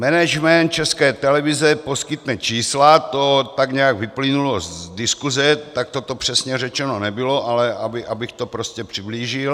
Management České televize poskytne čísla, to tak nějak vyplynulo z diskuse, takto to přesně řečeno nebylo, ale abych to prostě přiblížil.